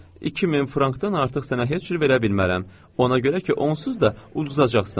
“2000 frankdan artıq sənə heç cür verə bilmərəm, ona görə ki, onsuz da ududacaqsan.”